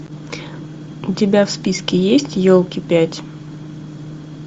у тебя в списке есть елки пять